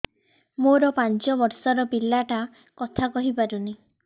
ମୋର ପାଞ୍ଚ ଵର୍ଷ ର ପିଲା ଟା କଥା କହି ପାରୁନି